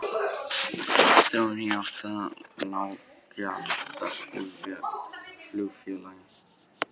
Þróun í átt að lággjaldaflugfélagi?